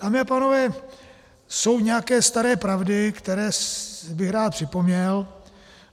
Dámy a pánové, jsou nějaké staré pravdy, které bych rád připomněl.